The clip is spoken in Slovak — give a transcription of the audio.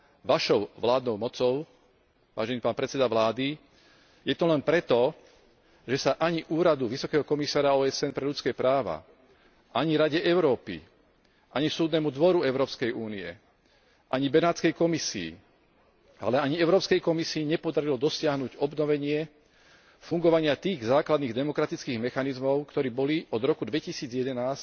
vašou vládnou mocou, vážený pán predseda vlády, je to len preto, že sa ani Úradu vysokého komisára OSN pre ľudské práva, ani Rade Európy, ani Súdnemu dvoru Európskej únie, ani Benátskej komisii, ale ani Európskej komisii nepodarilo dosiahnuť obnovenie fungovania tých základných demokratických mechanizmov, ktoré boli od roku 2011